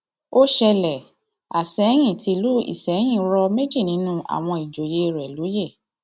ó ṣẹlẹ àsẹyìn tìlú isẹyìn rọ méjì nínú àwọn ìjòyè rẹ lóye